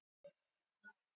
miðvikudagurinn